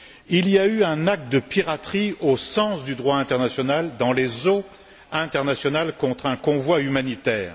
Il y a eu un acte de piraterie au sens du droit international, dans les eaux internationales, contre un convoi humanitaire.